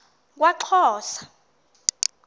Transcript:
kwaxhosa